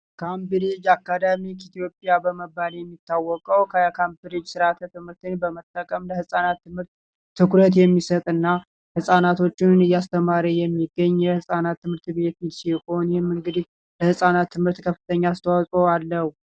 ካምፕሪጅ አካዳሚ ኢትዮጵያ በመባል የሚታወቀ ከካምፕሪጅ ስርዓተ ትምህርተ በመጠቀም ለህፃናት ትምህርት ትኩረት የሚሰጥና ህጻናቶቹን እያስተማረ የሚገኝ የህጻናት ትምህርት ቤት ሲሆን ለህፃናት ትምህርት ከፍተኛ አስተዋለው።